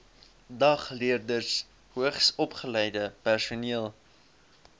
dagleerders hoogsopgeleide personeel